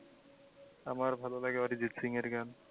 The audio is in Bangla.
আমার ভালো লাগে অরিজিত সিং এর গান।